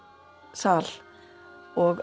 sal og